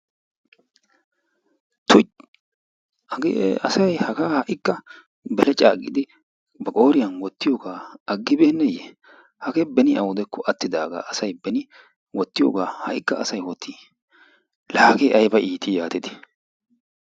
tuy! hagee asay ha"ikka beleccaa giidi ba qooriyaan wottiyoogaa agibbeneye? hagee beeni awudekko attidagaa asay beeni wottiyoogaa ha'ikka asay wottii laa hagee ayba itii yaatidi?